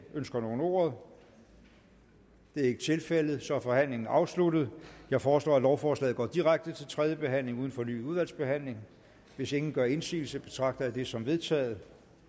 ønsker nogen ordet det er ikke tilfældet og så er forhandlingen afsluttet jeg foreslår at lovforslaget går direkte til tredje behandling uden fornyet udvalgsbehandling hvis ingen gør indsigelse betragter jeg det som vedtaget